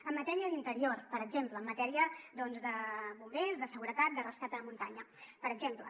en matèria d’interior per exemple en matèria de bombers de seguretat de rescat a muntanya per exemple